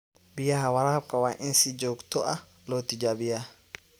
Biyaha waraabka waa in si joogto ah loo tijaabiyaa.